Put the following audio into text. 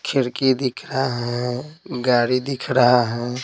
खिड़की दिख रहा है गाड़ी दिख रहा है।